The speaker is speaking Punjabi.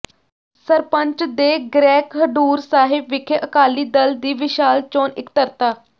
ਸਰਪੰਚ ਦੇ ਗ੍ਰਹਿ ਖਡੂਰ ਸਾਹਿਬ ਵਿਖੇ ਅਕਾਲੀ ਦਲ ਦੀ ਵਿਸ਼ਾਲ ਚੋਣ ਇਕੱਤਰਤਾ